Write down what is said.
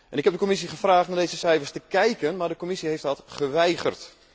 Ik heb de Commissie gevraagd naar deze cijfers te kijken, maar de Commissie heeft dat geweigerd.